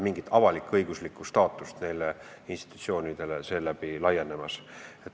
Mingit avalik-õigusliku staatuse laienemist nendele institutsioonidele ei ole.